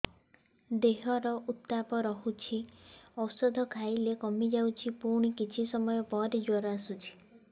ଦେହର ଉତ୍ତାପ ରହୁଛି ଔଷଧ ଖାଇଲେ କମିଯାଉଛି ପୁଣି କିଛି ସମୟ ପରେ ଜ୍ୱର ଆସୁଛି